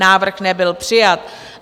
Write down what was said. Návrh nebyl přijat.